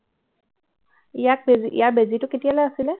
ইয়াক ইয়াৰ বেজীটো কেতিয়ালৈ আছিলে